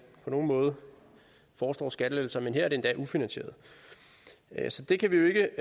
på nogen måde foreslår skattelettelser men her er det endda ufinansieret så det kan vi ikke